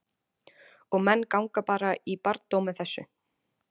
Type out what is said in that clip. Og menn ganga bara í barndóm með þessu?